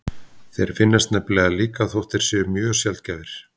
Þeir finnast nefnilega líka þótt þeir séu mjög sjaldgæfir.